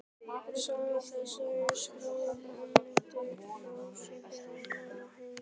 Saga þessi er skráð af Benedikt Þórðarsyni á Brjánslæk og heitir